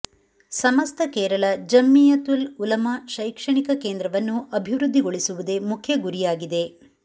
ಸಮಸ್ತ ಕೇರಳ ಜಂಮೀಯತುಲ್ ಉಲಮಾ ಶೈಕ್ಷಣಿಕ ಕೇಂದ್ರವನ್ನು ಅಭಿವೃದ್ದಿಗೊಳಿಸುವುದೇ ಮುಖ್ಯ ಗುರಿಯಾಗಿದೆ